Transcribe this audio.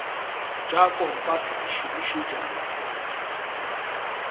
tša kompase di šomišetšwa go